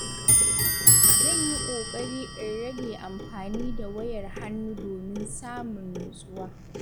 Zan yi kokari in rage amfani da wayar hannu domin samun natsuwa.